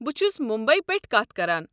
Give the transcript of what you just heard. بہٕ چھُس ممبی پٮ۪ٹھٕ کتھ کران۔